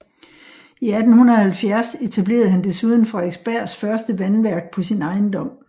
I 1870 etablerede han desuden Frederiksbergs første vandværk på sin ejendom